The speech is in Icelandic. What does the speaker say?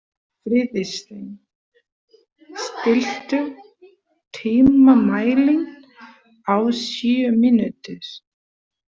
Friðsteinn, stilltu tímamælinn á sjö mínútur.